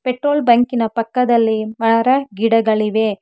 Petrol ಬಂಕಿನ ಪಕ್ಕದಲ್ಲಿ ಮರ ಗಿಡಗಳಿವೆ.